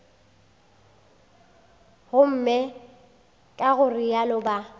gomme ka go realo ba